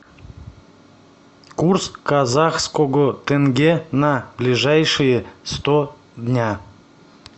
курс казахского тенге на ближайшие сто дня